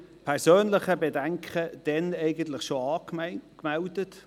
Ich habe damals bereits meine persönlichen Bedenken angemeldet.